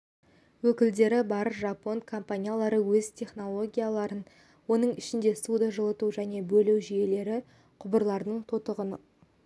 өкілдері бар жапон компаниялары өз технологияларын оның ішінде суды жылыту және бөлу жүйелері құбырларының тотығының